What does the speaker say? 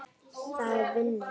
Það er vinnan.